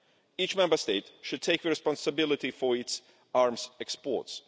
Each Member State should take the responsibility for its arms exports.